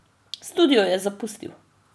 Studio je zapustil.